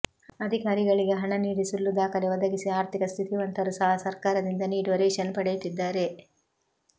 ಅಧಿಕಾರಿಗಳಿಗೆ ಹಣ ನೀಡಿ ಸುಳ್ಳು ದಾಖಲೆ ಒದಗಿಸಿ ಅರ್ಥಿಕ ಸ್ಥಿತಿವಂತರು ಸಹ ಸರ್ಕಾರದಿಂದ ನೀಡುವ ರೇಷನ್ ಪಡೆಯುತ್ತಿದ್ದಾರೆ